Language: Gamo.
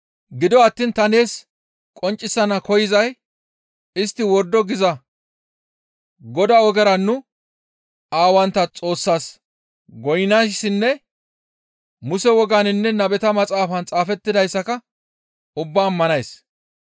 «Gido attiin ta nees qonccisana koyzay istti wordo giza Godaa ogera nu aawantta Xoossaas goynnayssinne Muse wogaaninne nabeta maxaafan xaafettidayssaka ubbaa ammanays.